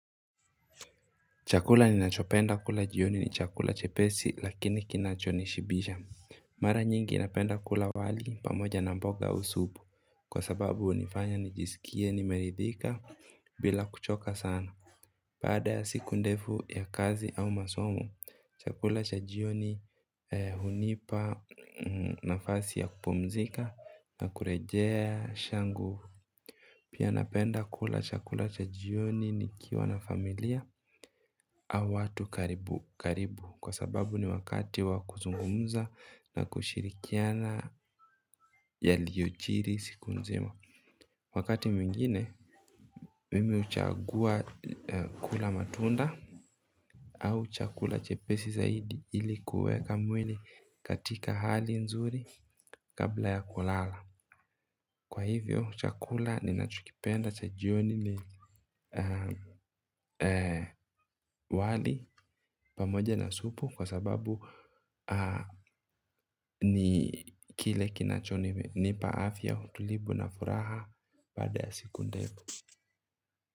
Chakula ninachopenda kula jioni ni chakula chepesi lakini kinachonishibisha. Mara nyingi napenda kula wali pamoja na mboga au supu kwa sababu hunifanya nijisikie nimeridhika bila kuchoka sana baada ya siku ndefu ya kazi au masomo. Chakula cha jioni hunipa nafasi ya kupumzika na kurejesha nguvu. Pia napenda kula chakula cha jioni nikiwa na familia. Au watu karibu karibu kwa sababu ni wakati wa kuzungumza na kushirikiana yaliyojiri siku nzima. Wakati mwingine mimi huchagua kula matunda au chakula chepesi zaidi ilikuweka mwili katika hali nzuri kabla ya kulala. Kwa hivyo chakula ninachokipenda cha jioni ni wali pamoja na supu kwa sababu ni kile kinachonipa afya utulivu na furaha baada ya siku ndefu.